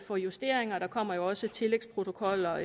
for justeringer og der kommer jo også tillægsprotokoller